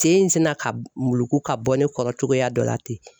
Sen in sina ka muluku ka bɔ ne kɔrɔ cogoya dɔ la ten